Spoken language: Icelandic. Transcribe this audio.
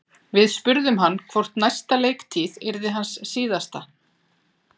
Við spurðum hann hvort næsta leiktíð yrði hans síðasta?